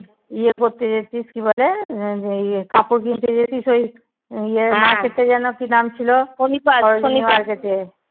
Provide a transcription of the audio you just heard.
ইয়ে করতে যেতিস কি বলে ইয়ে কাপড় কিনতে যেটিস ওই ইয়ে market যেন কি নাম ছিল?